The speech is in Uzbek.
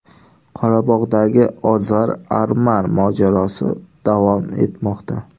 Qorabog‘dagi ozar-arman mojarosi davom etmoqda.